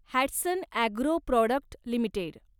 Hatsun agro product limited